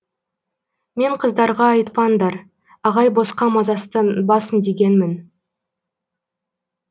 мен қыздарға айтпаңдар ағай босқа мазасызданбасын дегенмін